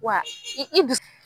Wa i i